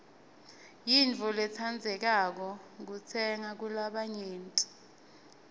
yintfo lentsandzekako kutsenga kulabanyenti